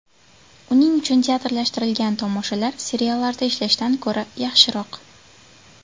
Uning uchun teatrlashtirilgan tomoshalar seriallarda ishlashdan ko‘ra yaxshiroq.